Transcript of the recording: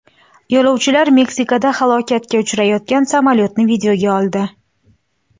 Yo‘lovchilar Meksikada halokatga uchrayotgan samolyotni videoga oldi .